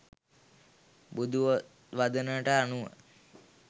බුදු වදනට අනුව